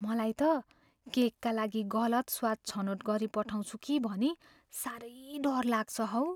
मलाई त केकका लागि गलत स्वाद छनोट गरिपठाउँछु भनी साह्रै डर लाग्छ हौ।